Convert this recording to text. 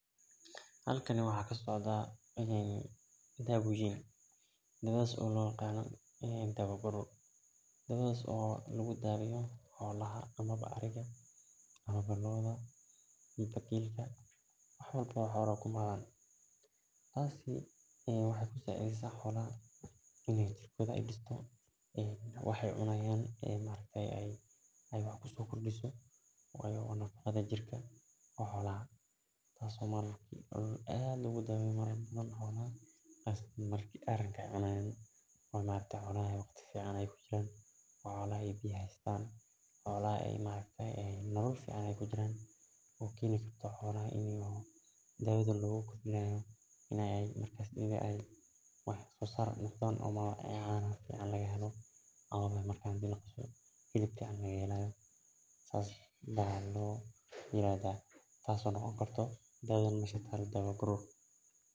Halkani waxaa kasocda dawadhi an kushegay dawadhas oo lagu daweya xolaha tasi waxee kusacideysa xolaha wayo waa nafaqada jirka oo marka xolaha ee waqti fican ee kujiran ee wax sosar ee lahadhan tas oo ladihi karo dawadha mesha talo waadawa garor cafimaadka ayey socelisa wana muhiim xolaha cafimad kodha ayey kor uqada.